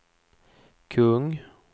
kung